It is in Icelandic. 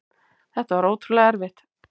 Þetta var ótrúlega erfitt.